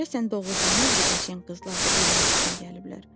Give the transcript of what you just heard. Görəsən doğurdanmı bu qəşəng qızlar da ölmək üçün gəliblər?